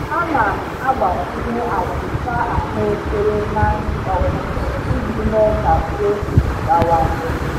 Ana m agbakwunye achịcha ahụekere na nri ọkụkọ iji mee ka protein bawanye.